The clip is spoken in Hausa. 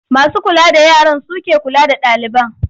Masu kula da yaran su ke kula da ɗaliban.